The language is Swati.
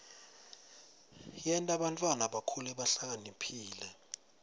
yenta bantfwana bakhule bahlakaniphile